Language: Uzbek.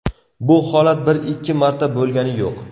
Bu holat bir-ikki marta bo‘lgani yo‘q.